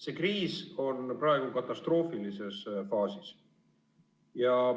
See kriis on praegu katastroofilises faasis.